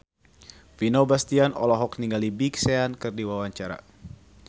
Vino Bastian olohok ningali Big Sean keur diwawancara